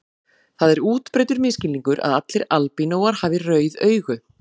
Það er útbreiddur misskilningur að allir albínóar hafi rauð augu.